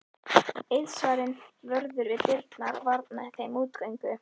Eiðsvarinn vörður við dyrnar varnaði þeim útgöngu.